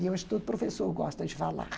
Eu acho que todo professor gosta de falar.